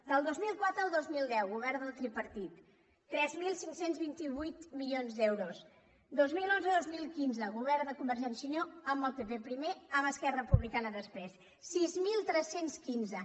del dos mil quatre al dos mil deu govern del tripartit tres mil cinc cents i vint vuit milions d’euros dos mil onze dos mil quinze govern de convergència i unió amb el pp primer amb esquerra republicana després sis mil tres cents i quinze